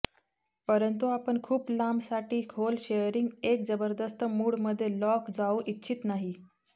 परंतु आपण खूप लांब साठी खोल शेअरिंग एक जबरदस्त मूड मध्ये लॉक जाऊ इच्छित नाहीत